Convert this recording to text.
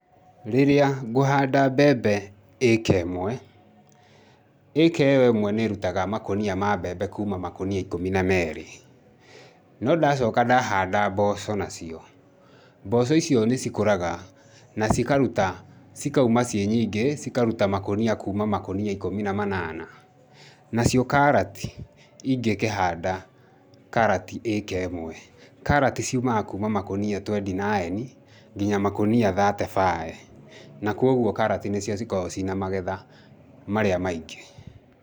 Rĩrĩa ngũhanda mbembe ĩka ĩmwe, ĩka ĩyo ĩmwe nĩ ĩrutaga makũnia ma mbembe kuuma makũnia ikũmi na merĩ. No ndacoka ndahanda mboco nacio, mboco icio nĩ cikũraga na cikaruta, cikauma ciĩ nyingĩ cikaruta makũnia kuuma makunia ikũmi na manana. Nacio karati, ingĩkĩhanda karati ĩka ĩmwe, karati ciumaga kuuma makũnia twenty nine nginya makũnia thirty five, na kogwo karati nĩcio cikoragwo ciĩna magetha marĩa maingĩ.